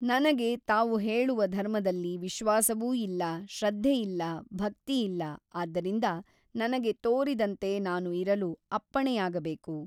ನನಗೆ ತಾವು ಹೇಳುವ ಧರ್ಮದಲ್ಲಿ ವಿಶ್ವಾಸವೂ ಇಲ್ಲ ಶ್ರದ್ಧೆಯಿಲ್ಲ ಭಕ್ತಿಯಿಲ್ಲ ಆದ್ದರಿಂದ ನನಗೆ ತೋರಿದಂತೆ ನಾನು ಇರಲು ಅಪ್ಪಣೆಯಾಗಬೇಕು.